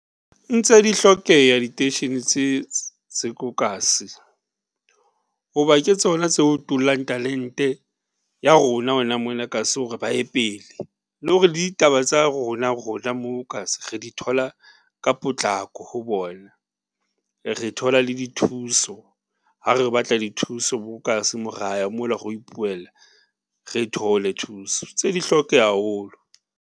Ntse di hlokeha diteishene tse tse ko kasi hoba ke tsona tse o tulang talente ya rona hona mona kasi hore ba ye pele, le hore ditaba tsa rona, rona moo kasi re di thola ka potlako ho bona, re thola le dithuso ha re batla dithuso bo kasi mo raya mo la re lo ipuella re thole thuso, ntse di hlokeha haholo.